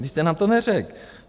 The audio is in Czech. Vy jste nám to neřekl.